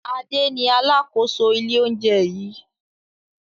Ade ni alákòóso ilé-oúnjẹ yìí.